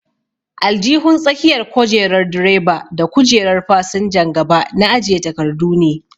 Aljihun tsakiyar kojerar direba da kujerar fasinjan gaba na ajiye takardu ne.